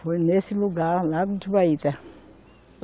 Foi nesse lugar, Lago dos